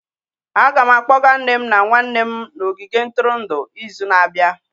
Aga m akpọga nne m na nwanne m n'ogige ntụrụndụ izu na-abịa.